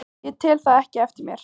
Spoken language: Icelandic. Ég tel það ekkert eftir mér.